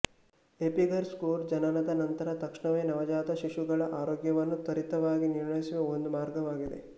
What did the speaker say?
Apgar score ಜನನದ ನಂತರ ತಕ್ಷಣವೇ ನವಜಾತ ಶಿಶುಗಳ ಆರೋಗ್ಯವನ್ನು ತ್ವರಿತವಾಗಿ ನಿರ್ಣಯಿಸುವ ಒಂದು ಮಾರ್ಗವಾಗಿದೆ